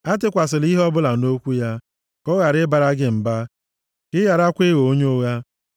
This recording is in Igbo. Atụkwasịla ihe ọbụla nʼokwu ya, ka ọ ghara ịbara gị mba, ka ị gharakwa ịghọ onye ụgha.